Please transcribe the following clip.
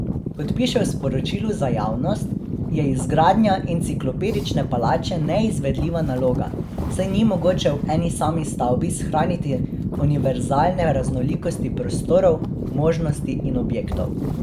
Kot piše v sporočilu za javnost, je izgradnja Enciklopedične palače neizvedljiva naloga, saj ni mogoče v eni sami stavbi shraniti univerzalne raznolikosti prostorov, možnosti in objektov.